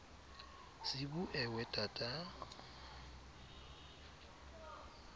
sibu ewe tata